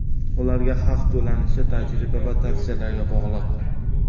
Ularga haq to‘lanishi tajriba va tavsiyalarga bog‘liq.